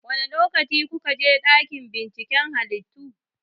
Wane lokaci kuka je dakin binciken halittu?